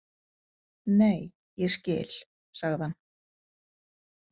Nei, ég skil, sagði hann.